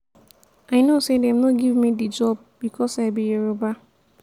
i know sey dem no give me di job because i be yoruba.